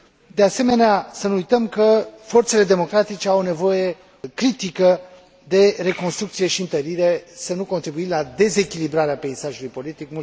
De asemenea, să nu uităm că forțele democratice au nevoie critică de reconstrucție și întărire, pentru a nu contribui la dezechilibrarea peisajului politic.